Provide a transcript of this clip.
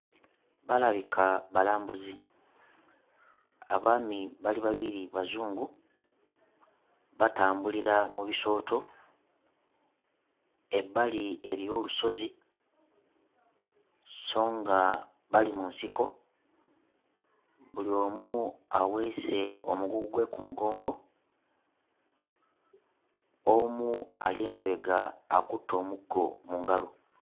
Balabika balambuzi abaami bali babiri Bazungu batambulira mu bisooto ebbali eriyo olusozi sso nga bali mu nsiko buli omu aweese omugugu gwe ku mugongo omu ali emabega akutte omuggo mu ngalo.